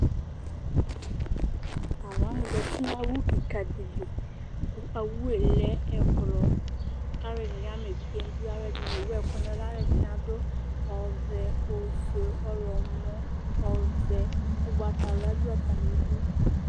Tʋ alu wani zǝtɩ nʋ owʋ kika dɩ li, kʋ owʋ yɛ lɛ ʋblɔ Alu ɛdɩnɩ ama evidze nʋ idu, alu ɛdɩnɩ ewʋ ɛkʋ nʋ ɛlʋ Alu ɛdɩnɩ adʋ ɔvɛ, ofue, ɔɣlɔmɔ Ugbatawla du atami ɩdʋ